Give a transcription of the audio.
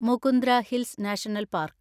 Mukundra Hills National park